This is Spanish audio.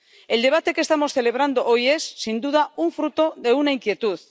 El debate que estamos celebrando hoy es, sin duda, fruto de una inquietud.